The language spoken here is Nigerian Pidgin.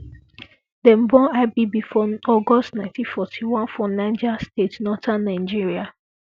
dem born ibb for august 1941 for niger state northern nigeria